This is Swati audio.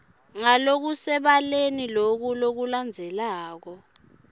ngalokusebaleni loku lokulandzelako